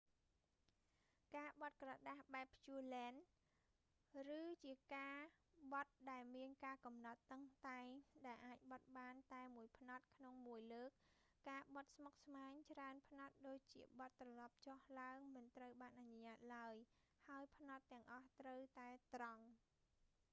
ការបត់ក្រដាសបែបភ្ជួលែន pureland គឺជាការបត់ដែលមានការកំណត់តឹងតែងដែលអាចបត់បានតែមួយផ្នត់ក្នុងមួយលើក ការបត់ស្មុគស្មាញច្រើនផ្នត់ដូចជាបត់ត្រឡប់ចុះឡើងមិនត្រូវបានអនុញ្ញាតឡើយ ហើយផ្នត់ទាំងអស់ត្រូវតែត្រង់